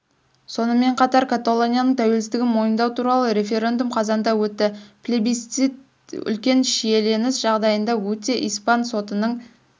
сонымен қатар каталонияның тәуелсіздігін мойындау туралы референдум қазанда өтті плебисцит үлкен шиеленіс жағдайында өтті испан сотының